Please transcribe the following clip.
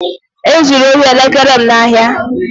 E zuru ohi elekere m n'ahịa